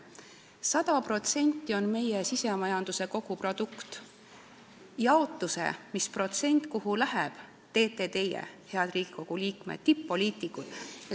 100% on meie SKT tervikuna, selle jaotuse, kui suur protsent sealt kuhugi läheb, teete teie, head Riigikogu liikmed, tipp-poliitikud.